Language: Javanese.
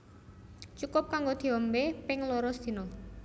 Cukup kanggo diombé ping loro sedina